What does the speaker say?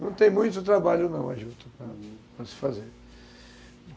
Não tem muito trabalho, não, a juta, para se fazer, uhum.